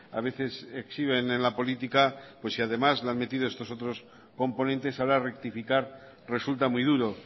a veces exhiben en la política pues si además le han metido estos otros componentes ahora rectificar resulta muy duro